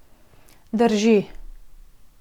Drži.